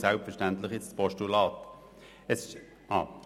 Selbstverständlich unterstützt sie jetzt das Postulat.